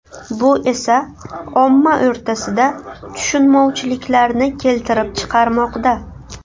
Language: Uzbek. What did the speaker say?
Bu esa omma o‘rtasida tushunmovchiliklarni keltirib chiqarmoqda.